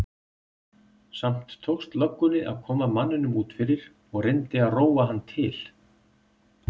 Samt tókst löggunni að koma manninum út fyrir og reyndi að róa hann til.